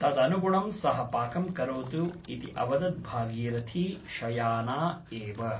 तदनुगुणं सः पाकं करोतु इति अवदत् भागीरथी शयाना एव ।